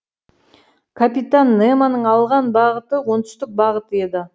капитан немоның алған бағыты оңтүстік бағыт еді